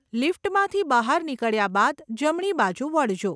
લિફ્ટમાંથી બહાર નીકળ્યા બાદ જમણી બાજુ વળજો.